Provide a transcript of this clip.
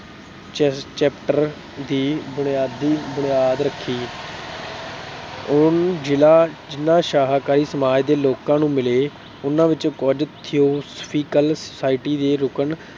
ਚ ਅਹ chapter ਦੀ ਬੁਨਿਆਦੀ ਬੁਨਿਆਦ ਰੱਖੀ। ਉਹ ਜਿਨ੍ਹਾਂ ਸ਼ਾਕਾਹਾਰੀ ਸਮਾਜ ਦੇ ਲੋਕਾਂ ਨੂੰ ਮਿਲੇ ਉਨ੍ਹਾਂ ਵਿੱਚੋਂ ਕੁਛ TheosopAFhical society ਦੇ ਲੋਕ